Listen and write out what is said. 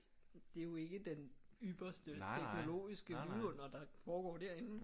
Det er jo ikke den ypperste teknologiske vidunder der foregår derinde